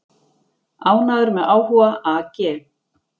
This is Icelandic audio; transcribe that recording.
Ánægður með áhuga AG